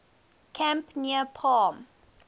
camp near palm